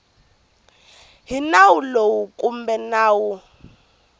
hi nawu lowu kumbe nawu